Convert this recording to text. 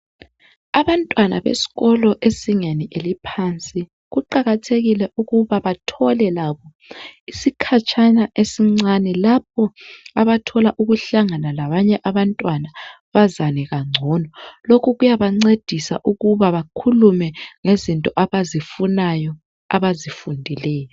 Abantwana besikolo ezingeni eliphansi kuqakathekile ukuba bathole labo isikhatshana esincane lapho abathola ukuhlangana labanye abantwana bazane kangcono. Lokhu kuyabancedisa ukuba bakhulume ngezinto abazifunayo abazifundileyo.